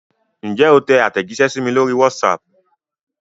Ǹjẹ́ o tẹ àtẹ̀jíṣẹ́ sí mi lórí WhatsApp?